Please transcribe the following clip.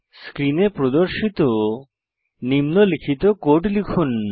স্ক্রিনে প্রদর্শিত নিম্নলিখিত কোড লিখুন